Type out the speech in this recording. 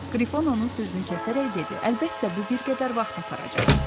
Qrifon onun sözünü kəsərək dedi: Əlbəttə bu bir qədər vaxt aparacaq.